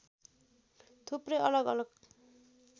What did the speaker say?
थुप्रै अलग अलग